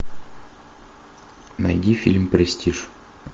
найди фильм престиж